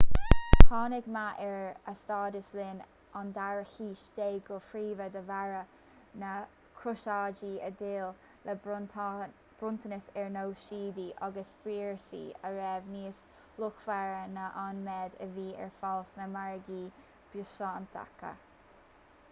tháinig meath ar a stádas linn an dara haois déag go príomha de bharr na gcrosáidí a d'fhill le bronntanais ar nós síodaí agus spíosraí a raibh níos luachmhaire ná an méid a bhí ar fáil sna margaí biosántacha